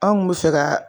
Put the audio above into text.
Anw kun bɛ fɛ ka